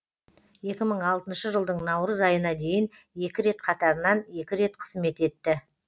екі мың алтыншы жылдың наурыз айына дейін екі рет қатарынан екі рет қызмет етті